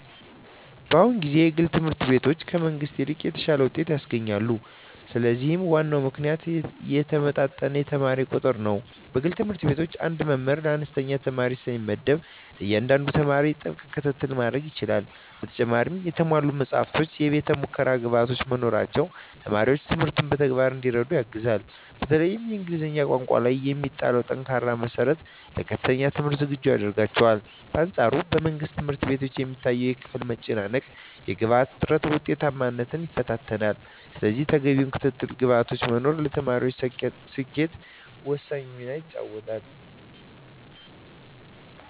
በአሁኑ ጊዜ የግል ትምህርት ቤቶች ከመንግሥት ይልቅ የተሻለ ውጤት ያስገኛሉ። ለዚህም ዋናው ምክንያት የተመጣጠነ የተማሪ ቁጥር ነው። በግል ትምህርት ቤቶች አንድ መምህር ለአነስተኛ ተማሪዎች ስለሚመደብ፣ ለእያንዳንዱ ተማሪ ጥብቅ ክትትል ማድረግ ይቻላል። በተጨማሪም የተሟሉ መጻሕፍትና የቤተ-ሙከራ ግብዓቶች መኖራቸው ተማሪዎች ትምህርቱን በተግባር እንዲረዱ ያግዛል። በተለይም በእንግሊዝኛ ቋንቋ ላይ የሚጣለው ጠንካራ መሠረት ለከፍተኛ ትምህርት ዝግጁ ያደርጋቸዋል። በአንፃሩ በመንግሥት ትምህርት ቤቶች የሚታየው የክፍል መጨናነቅና የግብዓት እጥረት ውጤታማነትን ይፈታተናል። ስለዚህ ተገቢው ክትትልና ግብዓት መኖሩ ለተማሪዎች ስኬት ወሳኝ ሚና ይጫወታል።